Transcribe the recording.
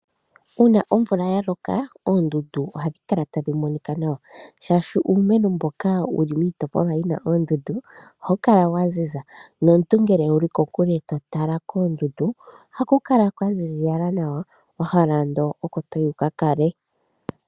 Uuna omvula yaloka, oondundu ohadhi kala tadhi monika nawa. Shashi uumeno mboka wuli miitopolwa yi na oondundu oha wu kala waziza, nomuntu ngele ngele wu li ko kule to tala koondundu oha ku kala kwa ziziyala nawa, wahala ando oko to yi wuka kale.